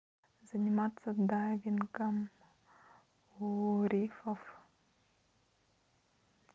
заниматься дайвингом у рифов